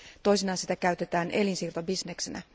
Toisinaan sitä käytetään elinsiirtobisneksenä.